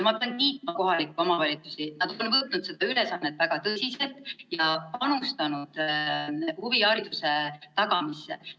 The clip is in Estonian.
Ma pean kiitma kohalikke omavalitsusi, nad on võtnud seda ülesannet väga tõsiselt ja panustanud huvihariduse tagamisse.